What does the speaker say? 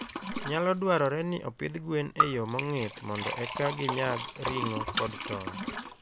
Nyalo dwarore ni opidh gwen e yo mong'ith mondo eka ginyag ring'o kod tong'.